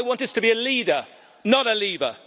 I want us to be a leader, not a leaver.